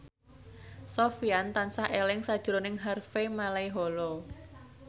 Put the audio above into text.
Sofyan tansah eling sakjroning Harvey Malaiholo